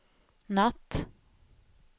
natt